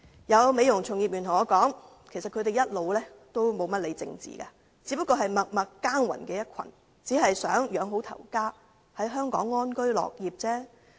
有美容業從業員告訴我，他們一直沒有怎麼理會政治，只是默默耕耘的一群，只希望養活家庭，在香港安居樂業。